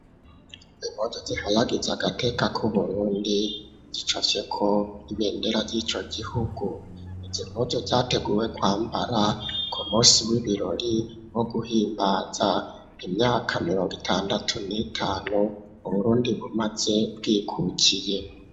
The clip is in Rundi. Impuzu ziharagiza agateka k'uburundi zicafyeko ibendera ry'ico gihugu, izo mpuzu zateguwe kwambara ku musi w'ibirori wo guhimbaza imyaka mironga itandatu n'itanu uburundi bumaze bwikukiye.